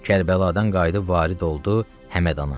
Kərbəladan qayıdıb varid oldu Həmədana.